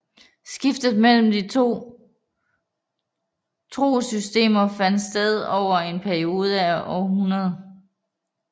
Skiftet mellem de to trossystemer fandt sted over en periode på århundreder